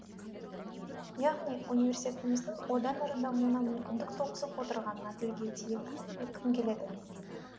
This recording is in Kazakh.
яғни университетіміздің одан әрі дамуына мүмкіндік туғызып отырғанын тілге тиек еткім келеді